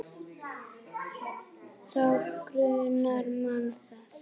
Þá grunar mann það.